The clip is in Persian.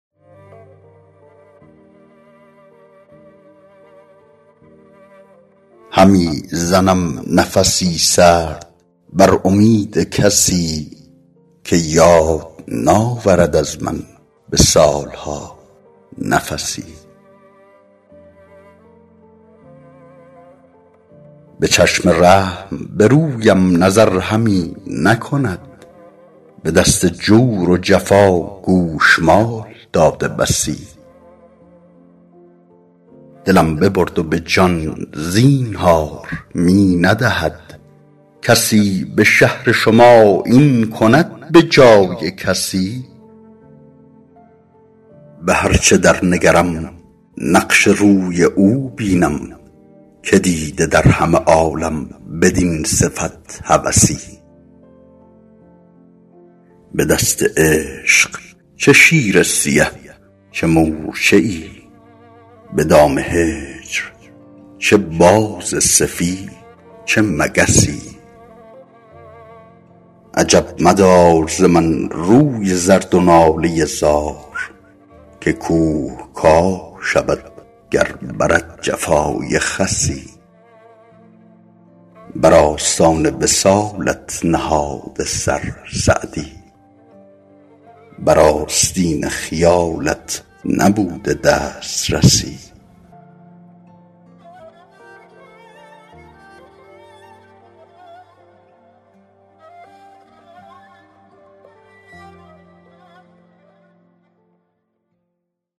همی زنم نفس سرد بر امید کسی که یاد ناورد از من به سال ها نفسی به چشم رحم به رویم نظر همی نکند به دست جور و جفا گوشمال داده بسی دلم ببرد و به جان زینهار می ندهد کسی به شهر شما این کند به جای کسی به هر چه در نگرم نقش روی او بینم که دیده در همه عالم بدین صفت هوسی به دست عشق چه شیر سیه چه مورچه ای به دام هجر چه باز سفید چه مگسی عجب مدار ز من روی زرد و ناله زار که کوه کاه شود گر برد جفای خسی بر آستان وصالت نهاده سر سعدی بر آستین خیالت نبوده دسترسی